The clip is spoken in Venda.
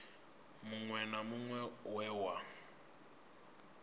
muṅwe na muṅwe we wa